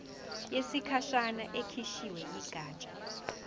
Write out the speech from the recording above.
yesikhashana ekhishwe yigatsha